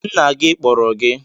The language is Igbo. Nna gị kpọrọ gị